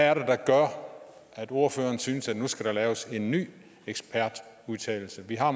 er det der gør at ordføreren synes at der nu skal laves en ny ekspertudtalelse vi har